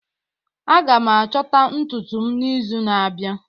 Aga m achọta ntutu m n'izu na-abịa